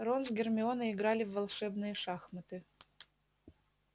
рон с гермионой играли в волшебные шахматы